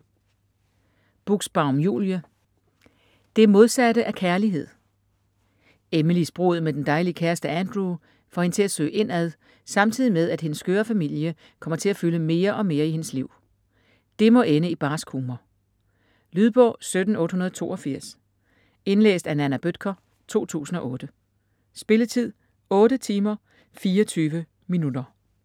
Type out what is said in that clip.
Buxbaum, Julie: Det modsatte af kærlighed Emilys brud med den dejlige kæreste Andrew får hende til at søge indad, samtidig med, at hendes skøre familie kommer til at fylde mere og mere i hendes liv. Det må ende i barsk humor ! Lydbog 17882 Indlæst af Nanna Bøttcher, 2008. Spilletid: 8 timer, 24 minutter.